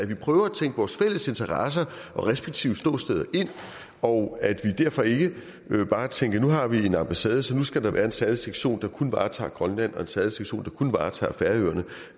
vi prøver at tænke vores fælles interesser og respektive ståsteder ind og at vi derfor ikke bare tænker at nu har vi en ambassade så nu skal der være en særlig sektion der kun varetager grønland og en særlig sektion der kun varetager færøerne